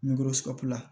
Ni